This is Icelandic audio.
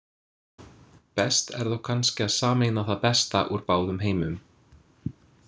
Best er þó kannski að sameina það besta úr báðum heimum.